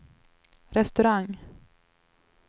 restaurang